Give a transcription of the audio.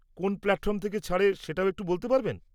কোন প্ল্যাটফর্ম থেকে ছাড়ে সেটাও একটু বলতে পারবেন?